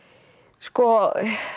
sko